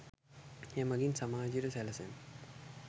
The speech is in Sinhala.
එමඟින් සමාජයට සැලසෙන